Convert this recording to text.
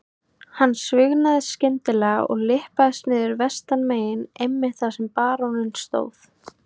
Hann svignaði skyndilega og lyppaðist niður vestanmegin einmitt þar sem baróninn stóð.